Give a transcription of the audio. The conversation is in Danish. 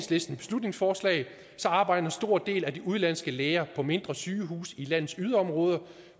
beslutningsforslag arbejder en stor del af de udenlandske læger på mindre sygehuse i landets yderområder